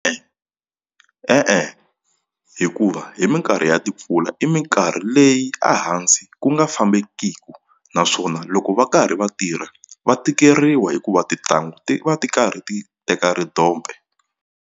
e-e hikuva hi minkarhi ya timpfula i minkarhi leyi a hansi ku nga fambekiki naswona loko va karhi va tirha va tikeriwa hikuva tintangu ti va ti karhi ti teka ridompe.